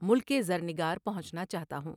ملک زرنگار پہنچنا چاہتا ہوں ۔